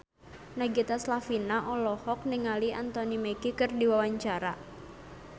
Nagita Slavina olohok ningali Anthony Mackie keur diwawancara